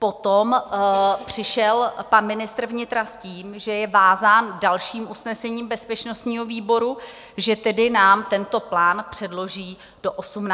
Potom přišel pan ministr vnitra s tím, že je vázán dalším usnesením bezpečnostního výboru, že tedy nám tento plán předloží do 18. května.